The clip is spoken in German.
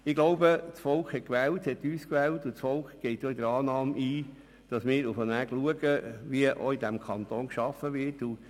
Ich glaube, dass das Volk uns in der Annahme gewählt hat, dass wir darauf achten, wie im Kanton gearbeitet wird.